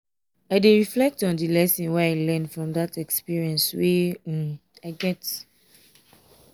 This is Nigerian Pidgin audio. i dey reflect on di lesson wey i learn from dat experience wey um i get.